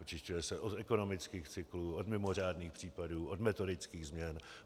Očišťuje se od ekonomických cyklů, od mimořádných případů, od metodických změn.